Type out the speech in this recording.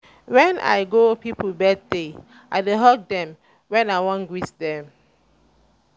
wen i go pipo birthday i dey hug dem wen i wan greet dem.